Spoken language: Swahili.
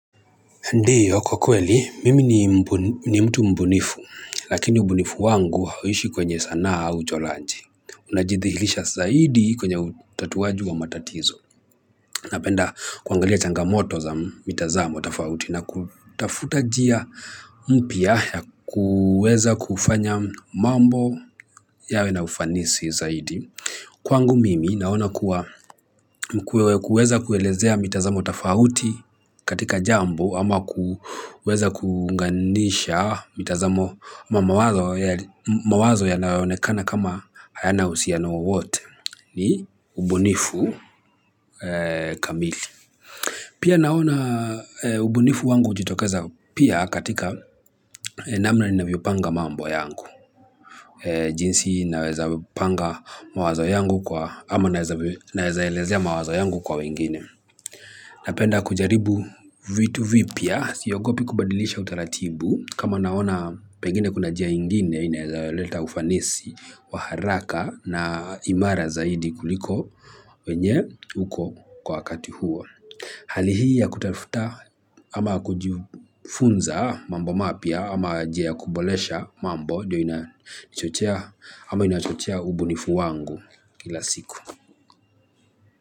Ndiyo, kwa kweli, mimi ni ni mtu mbunifu lakini ubunifu wangu hauishi kwenye sanaa au uchoraji najithihilisha zaidi kwenye utatuwaji wa matatizo. Napenda kuangalia changamoto za mitazamo tofauti na kutafuta njia mpya ya kuweza kufanya mambo yawe na ufanisi zaidi. Kwangu mimi naona kuwa kuweza kuelezea mitazamo tofauti katika jambo ama kuweza kuunganisha mitazamo ama mawazo mawazo yanayoonekana kama hayana uhusiano wowote ni ubunifu kamili. Pia naona ubunifu wangu hujitokeza pia katika namna ninavyo panga mambo yangu. Jinsi naweza panga mawazo yangu kwa, ama naweza elezea mawazo yangu kwa wengine. Napenda kujaribu vitu vipya, siogopi kubadilisha utaratibu. Kama naona pengine kuna njia ingine, inaweza leta ufanisi wa haraka na imara zaidi kuliko wenye uko kwa kati huo. Hali hii ya kutafuta ama kujifunza mambo mapya ama njia kuboresha mambo ndiyo inachochea ama inachochea ubunifu wangu kila siku.